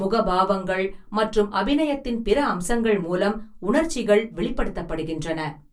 முகபாவங்கள் மற்றும் அபிநயத்தின் பிற அம்சங்கள் மூலம் உணர்ச்சிகள் வெளிப்படுத்தப்படுகின்றன.